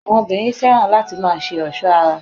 Àwọn obìnrin fẹ́ràn láti má a se ọ̀sọ́ ara